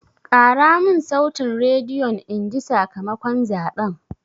Ƙara mun sautin rediyon inji sakamakon zaɓen!